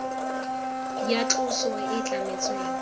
ya tloso e e tlametsweng